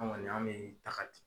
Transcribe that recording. Anw kɔni an bɛ daga di.